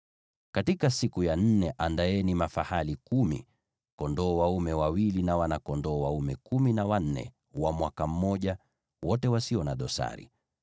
“ ‘Katika siku ya nne andaeni mafahali wachanga kumi na wawili, kondoo dume wawili, na wana-kondoo kumi na wanne wa mwaka mmoja, wote wasio na dosari.